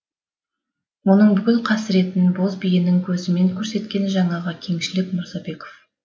оның бүкіл қасіретін боз биенің көзімен көрсеткен жаңағы кеңшілік мырзабеков